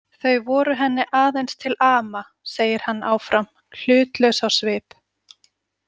Þau voru henni aðeins til ama, segir hann áfram, hlutlaus á svip.